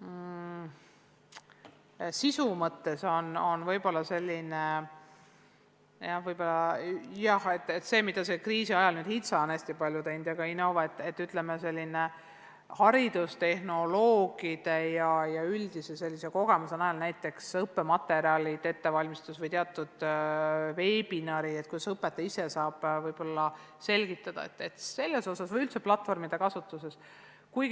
on sisu mõttes olnud võib-olla selline – see, mida kriisi ajal HITSA on hästi palju teinud ja ka Innove –, ütleme, haridustehnoloogide ja sellise üldise kogemuse najal näiteks õppematerjalide ettevalmistamist või teatud veebiseminaride korraldamist – kuidas õpetaja ise saab võib-olla selgitada – või üldse platvormide kasutust puudutav.